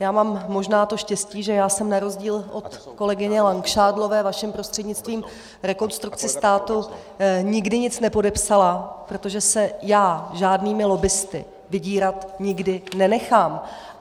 Já mám možná to štěstí, že já jsem na rozdíl od kolegyně Langšádlové, vaším prostřednictvím, Rekonstrukci státu nikdy nic nepodepsala, protože se já žádnými lobbisty vydírat nikdy nenechám.